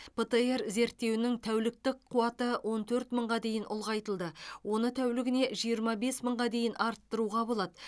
птр зерттеуінің тәуліктік қуаты он төрт мыңға дейін ұлғайтылды оны тәулігіне жиырма бес мыңға дейін арттыруға болады